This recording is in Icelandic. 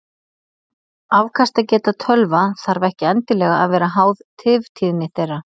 Afkastageta tölva þarf ekki endilega að vera háð tiftíðni þeirra.